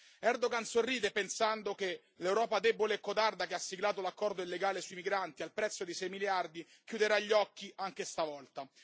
Erdogan sorride pensando che l'Europa debole e codarda, che ha siglato l'accordo illegale sui migranti al prezzo di 6 miliardi, chiuderà gli occhi anche stavolta.